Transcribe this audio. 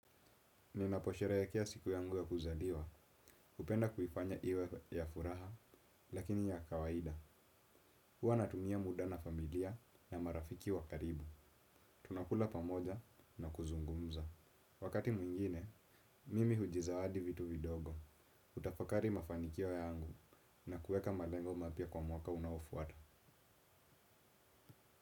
Ninaposherehekea siku yangu ya kuzaliwa hupenda kuifanya iwe ya furaha, lakini ya kawaida. Huwa natumia muda na familia na marafiki wa karibu. Tunakula pamoja na kuzungumza. Wakati mwingine, mimi hujizawadi vitu vidogo. Hutafakari mafanikio yangu na kuweka malengo mapya kwa mwaka unaofuata.